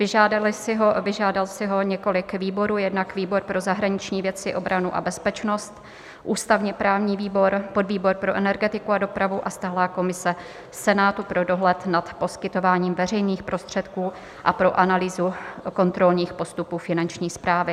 Vyžádalo si ho několik výborů, jednak výbor pro zahraniční věci, obranu a bezpečnost, ústavně-právní výbor, podvýbor pro energetiku a dopravu a stálá komise Senátu pro dohled nad poskytováním veřejných prostředků a pro analýzu kontrolních postupů Finanční správy.